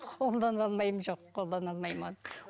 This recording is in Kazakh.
қолдана алмаймын жоқ қолдана алмаймын оны